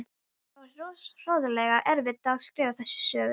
Það var hroðalega erfitt að skrifa þessa sögu.